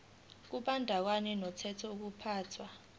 kubandakanya umthetho wokuphathwa